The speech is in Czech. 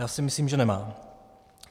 Já si myslím, že nemá.